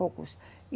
Poucos.